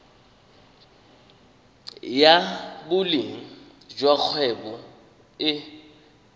ya boleng jwa kgwebo e